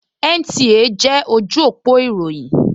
NTA jẹ́ ojú òpó ìròyìn